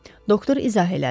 Doktor izah elədi.